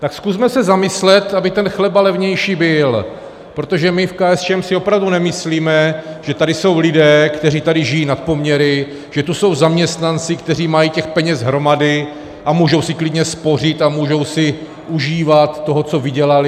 Tak zkusme se zamyslet, aby ten chleba levnější byl, protože my v KSČM si opravdu nemyslíme, že tady jsou lidé, kteří tady žijí nad poměry, že tu jsou zaměstnanci, kteří mají těch peněz hromady a můžou si klidně spořit a můžou si užívat toho, co vydělali.